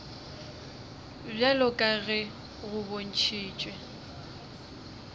bjalo ka ge go bontšhitšwe